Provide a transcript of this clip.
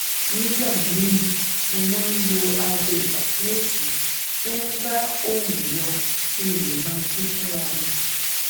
nígbà míì mo máa ń lo aago ìpàkíyèsí tó ń bá òòrùn yọ kí n lè máa jí fúnra mi